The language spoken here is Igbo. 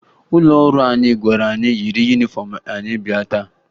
Ụlọ ọrụ anyị gwara anyị yiri yunifọmụ anyị bịa taa